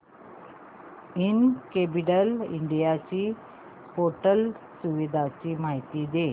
incredible India portal सुविधांची माहिती दे